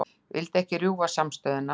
Vildi ekki rjúfa samstöðuna